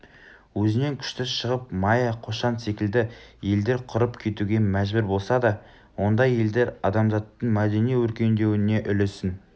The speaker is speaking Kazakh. өзінен күшті шығып майя қошан секілді елдер құрып кетуге мәжбүр болса да ондай елдер адамзаттың мәдени өркендеуіне үлесін